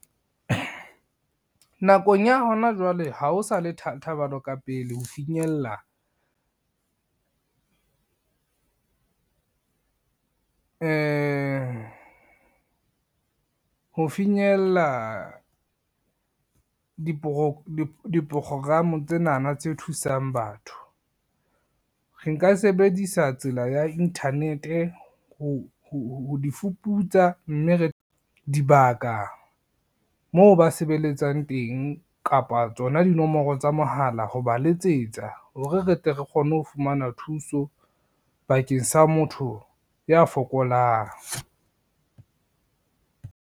Nakong ya hona jwale ha ho sale thabelo ka pele ho finyella diprokgokramo tsenana tse thusang batho. Re nka sebedisa tsela ya internet-e ho di fuputsa, mme re dibaka moo ba sebeletsang teng kapa tsona dinomoro tsa mohala ho ba letsetsa hore re tle re kgone ho fumana thuso bakeng sa motho ya fokolang.